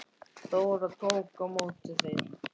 Dóra tók á móti þeim.